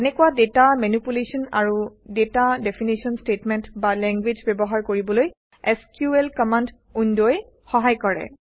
তেনেকুৱা data manipulation আৰু data definition statement বা লেংগুৱেজ ব্যৱহাৰ কৰিবলৈ এছক্যুএল কমাণ্ড উইণ্ডই সহায় কৰে